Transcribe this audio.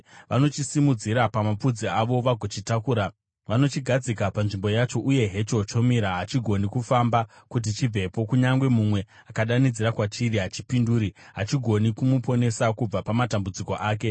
Vanochisimudzira pamapfudzi avo vagochitakura; vanochigadzika panzvimbo yacho, uye hecho chomira, hachigoni kufamba kuti chibvepo. Kunyange mumwe akadanidzira kwachiri, hachipinduri; hachigoni kumuponesa kubva pamatambudziko ake.